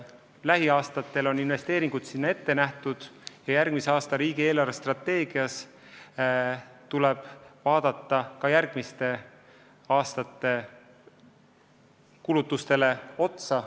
Lähiaastatel on investeeringud sinna ette nähtud ja kui järgmisel aastal riigi eelarvestrateegiat arutatakse, siis tuleb vaadata ka järgmiste aastate kulutustele otsa.